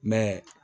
Mɛ